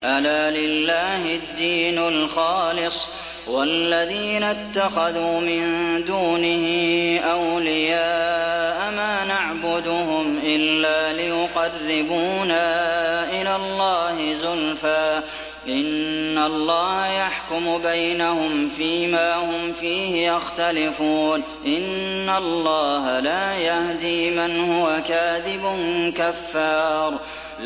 أَلَا لِلَّهِ الدِّينُ الْخَالِصُ ۚ وَالَّذِينَ اتَّخَذُوا مِن دُونِهِ أَوْلِيَاءَ مَا نَعْبُدُهُمْ إِلَّا لِيُقَرِّبُونَا إِلَى اللَّهِ زُلْفَىٰ إِنَّ اللَّهَ يَحْكُمُ بَيْنَهُمْ فِي مَا هُمْ فِيهِ يَخْتَلِفُونَ ۗ إِنَّ اللَّهَ لَا يَهْدِي مَنْ هُوَ كَاذِبٌ كَفَّارٌ